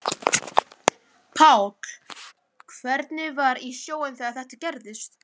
Páll: Hvernig var í sjóinn þegar þetta gerðist?